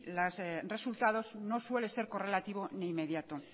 los resultados no suele ser correlativo ni inmediato